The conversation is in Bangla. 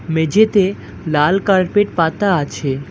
মেঝেতে লাল কার্পেট পাতা আছে।